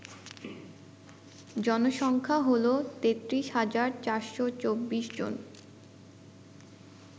জনসংখ্যা হল ৩৩৪২৪ জন